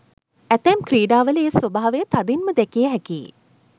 ඇතැම් ක්‍රීඩාවල ඒ ස්වභාවය තදින්ම දැකිය හැකියි.